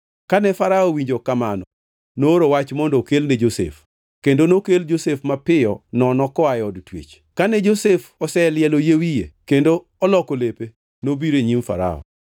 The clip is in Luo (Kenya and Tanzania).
Kane Farao owinjo kamano nooro wach mondo okelne Josef, kendo nokel Josef mapiyo nono koa e od twech. Kane Josef oselielo yie wiye kendo oloko lepe, nobiro e nyim Farao.